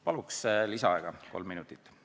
Palun lisaaega kolm minutit!